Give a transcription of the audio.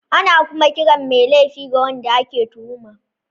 Ana kuma kiran mai laifin da wanda ake tuhuma.